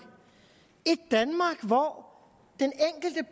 et danmark hvor